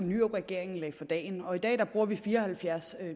nyrupregeringen lagde for dagen velfærdssamfund i dag bruger vi fire og halvfjerds